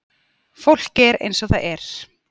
Fólk er eins og það er.